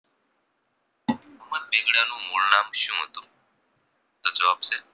મુળનામ શું હતું તો જવાબ છે